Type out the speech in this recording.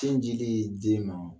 Sin dili den ma.